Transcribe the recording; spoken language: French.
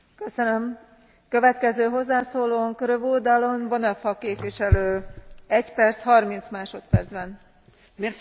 Madame la Présidente, l'Europe forteresse et le tout sécuritaire ne peuvent plus rester l'alpha et l'oméga de notre politique migratoire commune.